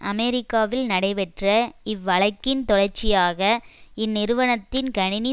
அமெரிக்காவில் நடைபெற்ற இவ்வழக்கின் தொடர்ச்சியாக இந்நிறுவனத்தின் கணினி